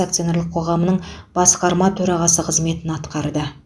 акционерлік қоғамының басқарма төрағасы қызметін атқарды